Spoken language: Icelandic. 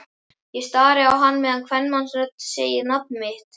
Ég stari á hann meðan kvenmannsrödd segir nafnið mitt.